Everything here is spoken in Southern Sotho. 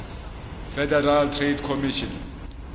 federal trade commission